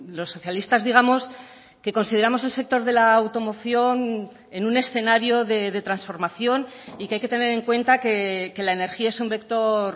los socialistas digamos que consideramos el sector de la automoción en un escenario de transformación y que hay que tener en cuenta que la energía es un vector